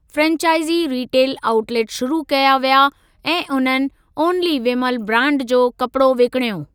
Franchise retail outlet शुरू कया विया ऐं उन्हनि 'ओनली विमल' ब्रांड जो कपिड़ो विकणियो।